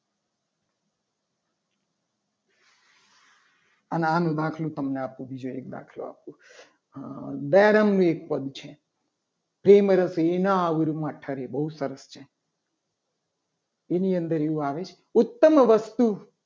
તો આનો દાખલો આપો બીજો એક તમને દયારામનું એક પદ છે. ફિલ્મ બહુ આબરૂ છે. બહુ સરસ છે. એની અંદર એવું આવે છે ઉત્તમ વસ્તુ